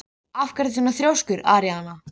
Guðmund frá Miðdal hafði María aldrei hitt á ævinni.